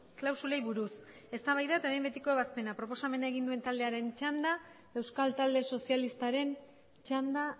klausulei buruz eztabaida eta behin betiko ebazpena proposamena egin duen taldearen txanda euskal talde sozialistaren txanda